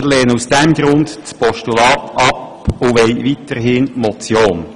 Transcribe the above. Wir lehnen aus diesem Grund das Postulat ab und wollen weiterhin die Motion.